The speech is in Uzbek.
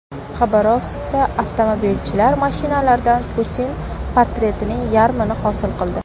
Xabarovskda avtomobilchilar mashinalardan Putin portretining yarmini hosil qildi.